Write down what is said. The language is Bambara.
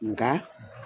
Nka